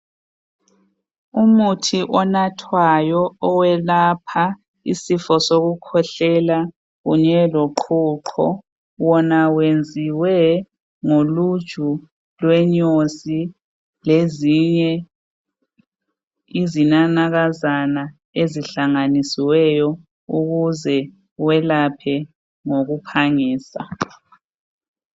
Umuthi onathwayo owelapha isifo sokukhwehlela kanye loqhuqho wona wenziwe ngoluju lwenyosi lezinye izinanakazana ezihlanganisiweyo ukuze welaphe ngokuphangisa.